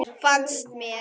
Fannst mér.